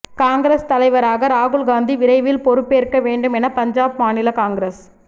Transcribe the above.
காங்கிரஸ் தலைவராக ராகுல் காந்தி விரைவில் பொறுப்பு ஏற்க வேண்டும் என பஞ்சாப் மாநில காங்கிரஸ்